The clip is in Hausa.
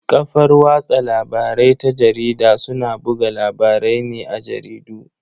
Kafar watsa labarai ta jarida suna buga labarai ne a jaridu.